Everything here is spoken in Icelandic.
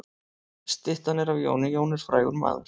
Styttan er af Jóni. Jón er frægur maður.